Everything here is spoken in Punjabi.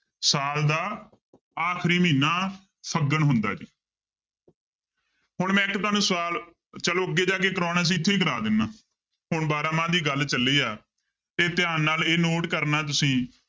ਸਾਲ ਦਾ ਆਖਰੀ ਮਹੀਨਾ ਫੱਗਣ ਹੁੰਦਾ ਜੀ ਹੁਣ ਮੈਂ ਇੱਕ ਤੁਹਾਨੂੰ ਸਵਾਲ ਚਲੋ ਅੱਗੇ ਜਾ ਕੇ ਕਰਵਾਉਣਾ ਸੀ ਇੱਥੇ ਹੀ ਕਰਵਾ ਦਿਨਾ ਹੁਣ ਬਾਰਾਂਮਾਂਹ ਦੀ ਗੱਲ ਚੱਲੀ ਹੈ ਤੇ ਧਿਆਨ ਨਾਲ ਇਹ note ਕਰਨਾ ਤੁਸੀਂ